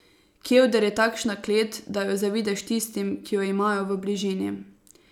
Kevder je takšna klet, da jo zavidaš tistim, ki jo imajo v bližini.